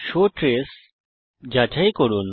show trace যাচাই করুন